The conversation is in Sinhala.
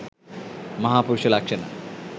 මහා පුරුෂ ලක්ෂණ,